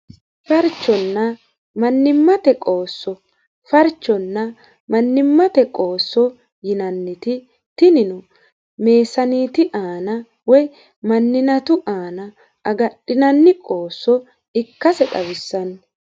farchonna mannimmate qoosso farchonna mannimmate qoosso yinanniti tinino meesaniiti aana woy manninatu aana agadhinanni qoosso ikkase xawissanno